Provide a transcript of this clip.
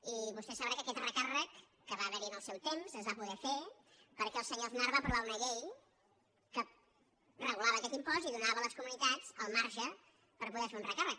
i vostè deu saber que aquest recàrrec que va haver·hi en el seu temps es va poder fer perquè el senyor aznar va aprovar una llei que regulava aquest impost i donava a les comunitats el marge per poder fer un recàrrec